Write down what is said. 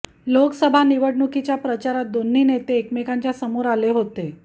लोकसभा निवडणुकीच्या प्रचारात दोन्ही नेते एकमेकांच्या समोर आले होते